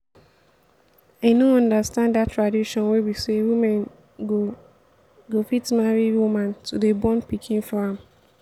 i no understand dat tradition wey be say woman go go fit marry woman to dey born pikin for am